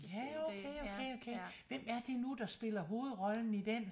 Ja okay okay okay hvem er det nu der spiller hovedrollen i dén?